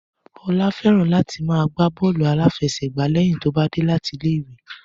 Ọlá fẹ́ràn láti máa gbá bọ́ọ̀lù aláfẹsẹ̀gbá lẹ́yìn tó bá dé láti ilé ìwé